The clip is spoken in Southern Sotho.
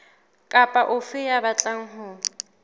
kapa ofe ya batlang ho